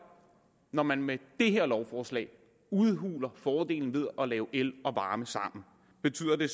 når man med det her lovforslag udhuler fordelen ved at lave el og varme sammen betyder det